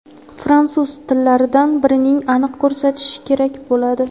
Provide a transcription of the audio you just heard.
fransuz) tillardan birini aniq ko‘rsatish kerak bo‘ladi.